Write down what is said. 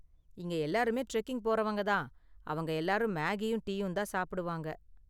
இங்க எல்லாருமே டிரெக்கிங் போறவங்க தான், அவங்க எல்லாரும் மேகியும் டீயும் தான் சாப்பிடுவாங்க.